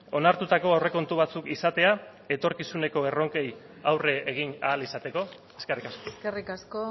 onartutako aurrekontu batzuk izatea etorkizuneko erronkei aurre egin ahal izateko eskerrik asko eskerrik asko